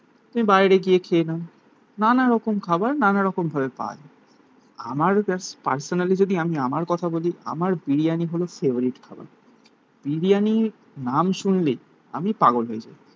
তুমি বাইরে গিয়ে খেয়ে নাও. নানা রকম খাবার. নানা রকম ভাবে পাওয়া যায় আমার জাস্ট পার্সোনালি যদি আমি আমার কথা বলি আমার বিরিয়ানি হলো ফেভারিট খাবার. বিরিয়ানির নাম শুনলেই আমি পাগল হয়ে যাই.